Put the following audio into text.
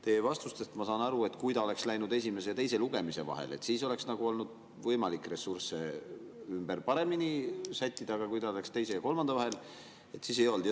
Teie vastustest ma saan aru, et kui ta oleks läinud esimese ja teise lugemise vahel, siis oleks olnud võimalik ressursse paremini ümber sättida, aga kui ta läks teise ja kolmanda vahel, siis ei olnud.